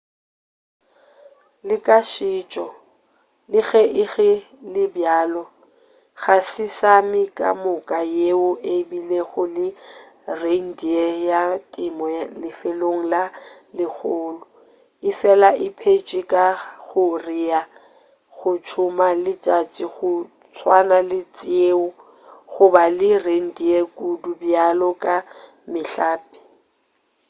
le ka setšo le ge ego le bjalo ga se sámi kamoka yeo e bilego le reindeer ya temo lefelong le legolo efela e phetše ka go rea go tsoma le tša go swana le tšeo go ba le reindeer kudu bjalo ka mehlape